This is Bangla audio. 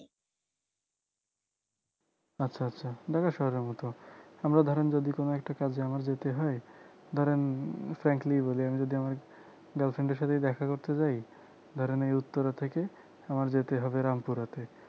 আচ্ছা আচ্ছা ঢাকা শহরের মত আমরা ধরেন যদি কোন একটা কাজে আমার যেতে হয় ধরেন frankly বলি আমি যদি আমার girlfriend এর সাথে দেখা করতে যাই ধরেন এই উত্তরা থেকে আমার যেতে হবে রামপুরাতে